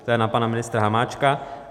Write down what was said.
To je na pana Ministra Hamáčka.